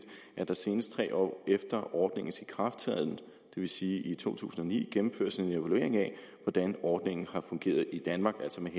at der senest tre år efter ordningens ikrafttræden det vil sige i to tusind og ni gennemføres en evaluering af hvordan ordningen har fungeret i danmark altså med